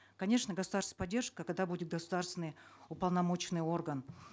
конечно государственная поддержка когда будет государственный уполномоченный орган